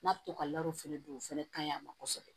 N'a bɛ to ka fɛnɛ don o fɛnɛ ka ɲi a ma kosɛbɛ